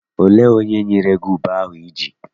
Olee onye nyere gị ube ahụ I ji?